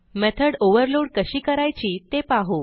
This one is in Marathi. मेथॉड ओव्हरलोड कशी करायची ते पाहू